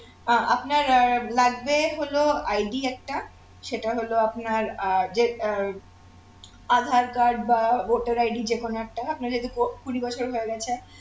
আহ আপনার আহ লাগবে হলো ID একটা সেটা হলো আপনার আহ যে আহ আধার card বা voter ID যেকোন একটা আপনার যেহেতু portfolio কুড়ি বছর হয়ে গেছে